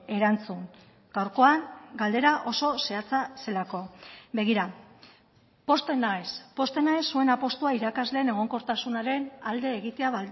erantzun gaurkoan galdera oso zehatza zelako begira pozten naiz pozten naiz zuen apustua irakasleen egonkortasunaren alde egitea